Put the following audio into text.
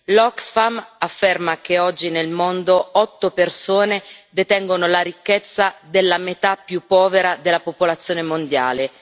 L'Oxfam afferma che oggi nel mondo otto persone detengono la ricchezza della metà più povera della popolazione mondiale.